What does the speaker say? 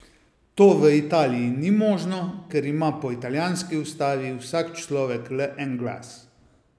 To v Italiji ni možno, ker ima po italijanski ustavi vsak človek le en glas.